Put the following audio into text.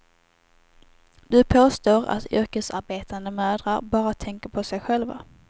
Du påstår att yrkesarbetande mödrar bara tänker på sig själva.